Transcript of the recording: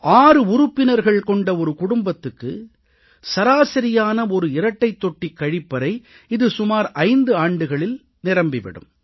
6 உறுப்பினர்கள் கொண்ட ஒரு குடும்பத்துக்கு சராசரியான ஒரு இரட்டைத் தொட்டி கழிப்பறை இது சுமார் 5 ஆண்டுகளில் நிரம்பி விடும்